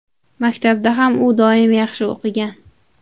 Maktabda ham u doim yaxshi o‘qigan.